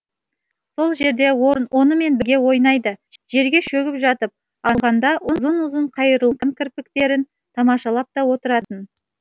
сол жерде онымен бірге ойнайды жерге шөгіп жатып алғанда ұзын ұзын қайырылған кірпіктерін тамашалап та отыратын